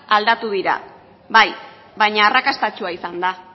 aldatu dira bai baina arrakastatsua izan da